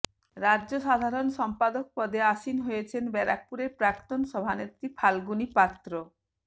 রাজ্য সাধারণ সম্পাদক পদে আসীন হয়েছেন ব্যারাকপুরের প্রাক্তন সভানেত্রী ফাল্গুনী পাত্র